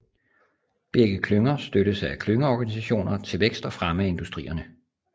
Begge klynger støttes af klyngeorganisationer til vækst og fremme af industrierne